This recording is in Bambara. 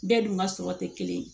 Bɛɛ dun ka sɔrɔ tɛ kelen ye